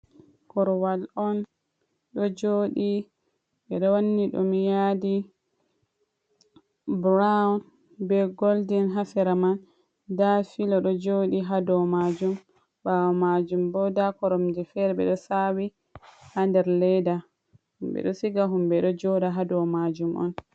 Korwal on, ɗo joɗi ɓewanni ɗum yadi burawun be goldin hasera man, nda fila ɗo joɗi hado majum, ɓawo majum bo nda koromje fere ɗo sawi ha der ledda himɓe ɗo siga, himɓe ɗo joɗa hadow majum on.